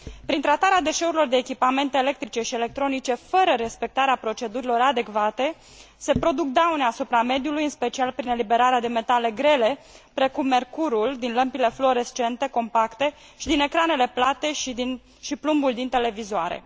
Prin tratarea deșeurilor de echipamente electrice și electronice fără respectarea procedurilor adecvate, se produc daune asupra mediului, în special prin eliberarea de metale grele, precum mercurul din lămpile fluorescente compacte și din ecranele plate și plumbul din televizoare.